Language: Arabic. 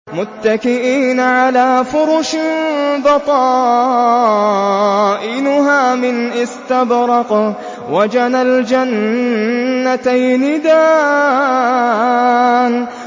مُتَّكِئِينَ عَلَىٰ فُرُشٍ بَطَائِنُهَا مِنْ إِسْتَبْرَقٍ ۚ وَجَنَى الْجَنَّتَيْنِ دَانٍ